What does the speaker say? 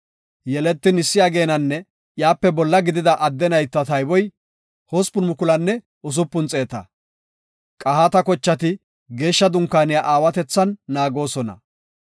Yeletin issi ageenanne iyape bolla gidida adde nayta tayboy 8,600. Qahaata kochati Geeshsha Dunkaaniya aawatethan naagoosona.